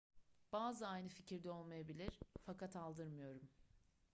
bazıları aynı fikirde olmayabilir fakat aldırmıyorum